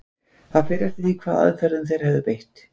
Það fer eftir því hvaða aðferðum þeir hefðu beitt.